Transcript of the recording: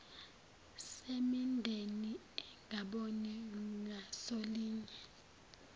semindeni engaboni ngasolinye